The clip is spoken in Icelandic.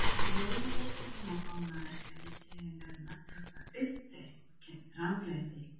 Rauði liturinn á fána verkalýðshreyfingarinnar táknar uppreisn gegn ranglæti.